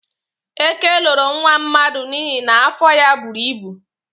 Ekè loro nwa mmadụ n'ihi na afọ ya buru ibu.